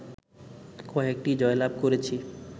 কয়েকটি জয়লাভ করেছি